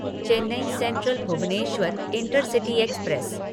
Chennai central Bhubaneswar intercity express